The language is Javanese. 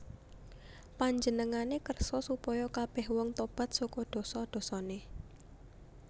Panjenengané kersa supaya kabèh wong tobat saka dosa dosané